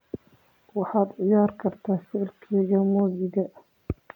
waxaad ciyaari kartaa faylkayga muusiga